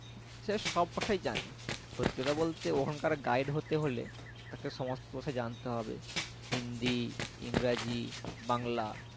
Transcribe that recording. সে সব ভাষাই জানে সত্যি কথা বলতে ওখানকার guide হতে হলে তাকে সমস্ত ভাষা জানতে হবে হিন্দি ইংরাজি বাংলা